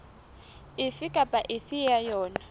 efe kapa efe ya yona